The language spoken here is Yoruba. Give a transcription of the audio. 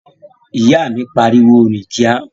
Ìyá mi pariwo "rìn kíá!"